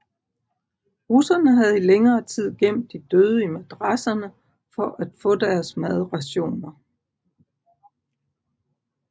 Russerne havde i længere tid gemt de døde i madrasserne for at få deres madrationer